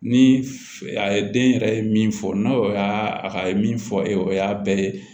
Ni a ye den yɛrɛ ye min fɔ n'o y'a a ka ye min fɔ o y'a bɛɛ ye